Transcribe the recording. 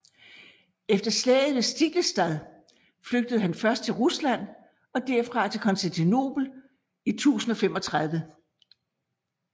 Efter slaget ved Stiklestad flygtede han først til Rusland og derfra til Konstantinopel i 1035